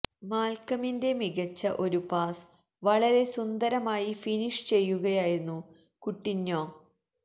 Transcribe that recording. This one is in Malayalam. മാൽക്കമിന്റെ മികച്ച ഒരു പാസ് വളരെ സുന്ദരമായി ഫിനിഷ് ചെയ്യുകയായിരുന്നു കുട്ടീഞ്ഞോ